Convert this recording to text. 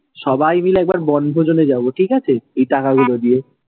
সবাই মিলে এক বার বনভোজনে যাবো ঠিকাছে, এই টাকা গুলো দিয়ে।